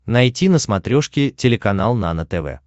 найти на смотрешке телеканал нано тв